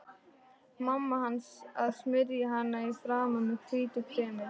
Mamma hans að smyrja hana í framan með hvítu kremi.